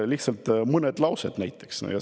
Lihtsalt mõned laused.